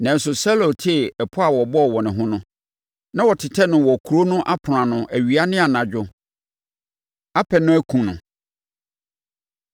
nanso Saulo tee pɔ a wɔbɔɔ wɔ ne ho no. Na wɔtetɛ no wɔ kuro no apono ano awia ne anadwo apɛ no akum no.